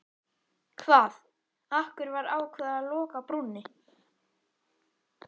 Hvað, af hverju var ákveðið að loka brúnni?